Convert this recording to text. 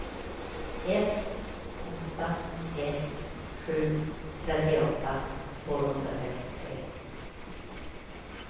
ett åtta ett sju trettioåtta tvåhundrasextiotre